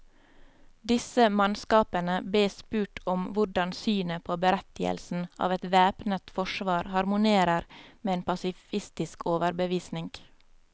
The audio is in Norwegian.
Disse mannskapene bes spurt om hvordan synet på berettigelsen av et væpnet forsvar harmonerer med en pasifistisk overbevisning.